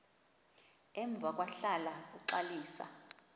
emva kwahlala uxalisa